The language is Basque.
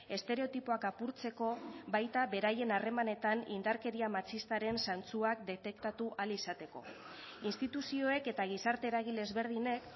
estereotipoak apurtzeko baita beraien harremanetan indarkeria matxistaren zantzuak detektatu ahal izateko instituzioek eta gizarte eragile ezberdinek